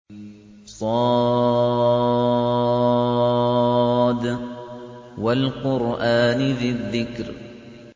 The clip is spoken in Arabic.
ص ۚ وَالْقُرْآنِ ذِي الذِّكْرِ